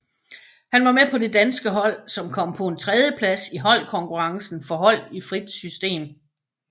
Han var med på det danske hold som kom på en tredjeplads i holdkonkurrencen for hold i frit system